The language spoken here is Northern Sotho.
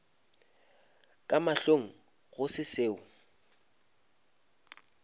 ka mahlong go se seo